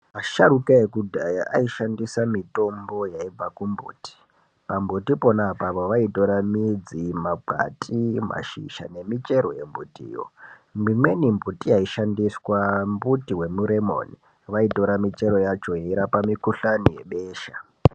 Asharuka ekudhaya aishandisa mitombo yaibva ku mbuti pa mbuti pona apapo vaitora midzi makwati mashizha ne michero ye mbiti yo mbuti waishandiswa mbuti ye muremoni vaitota kuhani ye besha.